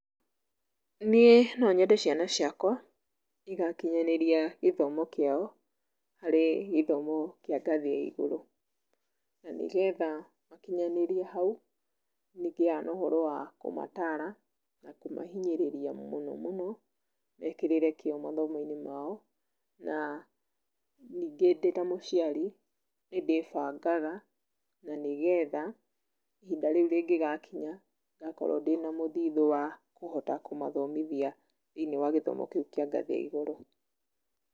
Niĩ nonyende ciana ciakwa, igakinyanĩria gĩthomo kĩao, harĩ gĩthomo kĩa ngathĩ ya igũrũ, na nĩgetha makĩnyanĩrie hau, nĩngĩaga na ũhoro wa, kũmatara, na kũmahinyĩrĩria mũno mũno, mekĩrĩre kĩo mathomoinĩ mao, na, ningĩ ndĩta mũciari, nĩndĩbangaga, na nĩgetha, ihinda rĩu rĩngĩgakinya, ngakorũo ndĩna mũthithũ wa, kũhota kũmathomithia, thĩini wa gĩthomo kĩũ kĩa ngathĩ ya igũrũ.